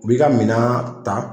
U b'i ka minan ta